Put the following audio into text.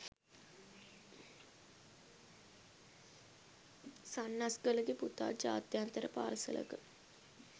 සන්නස්ගලගේ පුතා ජාත්‍යන්තර පාසලක